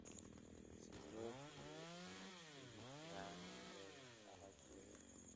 si loo hubiyo inay qiimo fiican u helaan alaabtooda.